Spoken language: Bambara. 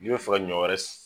N'i bɛ fɛ ka ɲɔ wɛrɛ